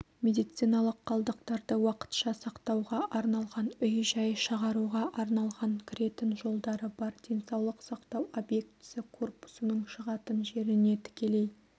медициналық қалдықтарды уақытша сақтауға арналған үй-жай шығаруға арналған кіретін жолдары бар денсаулық сақтау объектісі корпусының шығатын жеріне тікелей